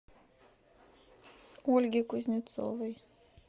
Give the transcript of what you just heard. ольге кузнецовой